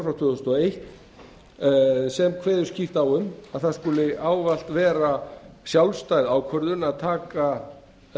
og fjögur e b sem kveður skýrt á um að það skuli ávallt vera sjálfstæð ákvörðun að taka